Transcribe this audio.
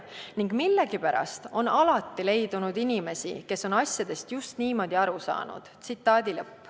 Ning millegipärast on alati leidunud inimesi, kes on asjadest just niimoodi aru saanud.